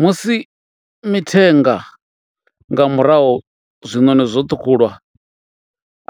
Musi mithenga nga murahu zwiṋoni zwo ṱhukhulwa